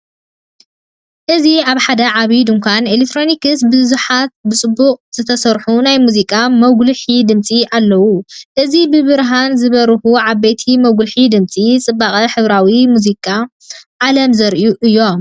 እዚ ኣብ ሓደ ዓቢ ድኳን ኤሌክትሮኒክስ ብዙሓት ብጽቡቕ ዝተሰርሑ ናይ ሙዚቃ መጉልሒ ድምጺ ኣለዉ። እዚ ብብርሃን ዝበርሁ ዓበይቲ መጉልሒ ድምጺ፡ ጽባቐ ሕብራዊ ሙዚቃዊ ዓለም ዘርእዩ እዮም።